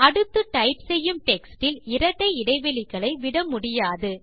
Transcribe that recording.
அடுத்து டைப் செய்யும் டெக்ஸ்ட் இல் இரட்டை இடைவெளிகளை விட முடியாது